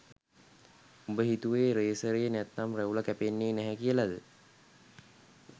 උඹ හිතුවේ රේසරේ නැත්නම් රැවුල කැපෙන්නේ නැහැ කියලද?